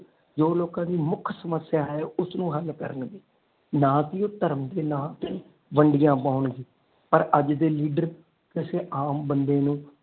ਜੋ ਲੋਕ ਦੀ ਮੁੱਖ ਸਮੱਸਿਆ ਹੈ ਉਸਨੂੰ ਹੱਲ ਕਰਨ ਨਾ ਤੇ ਉਹ ਧਰਮ ਦੇ ਨਾ ਤੇ ਵੰਡਿਆ ਪਾਉਣ ਗਏ ਪਰ ਅੱਜ ਦੇ ਲੀਡਰ ਕਿਸੇ ਆਮ ਬੰਦੇ ਨੂੰ।